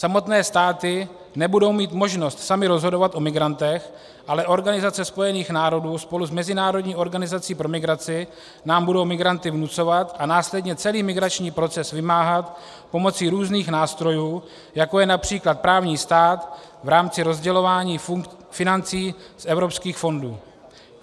Samotné státy nebudou mít možnost samy rozhodovat o migrantech, ale Organizace spojených národů spolu s mezinárodní organizací pro migraci nám budou migranty vnucovat a následně celý migrační proces vymáhat pomocí různých nástrojů, jako je například právní stát v rámci rozdělování financí z evropských fondů.